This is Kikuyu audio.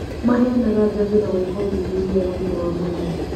Maheanaga njanjo na gwĩka ũthuthuria wa ũgima wa mwĩrĩ